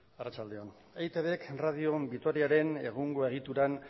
arratsalde on eitbk radio vitoriaren egungo egituran